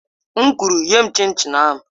M kwuru, nye m chin chin ahụ!